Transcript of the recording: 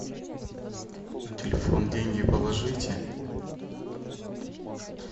на телефон деньги положите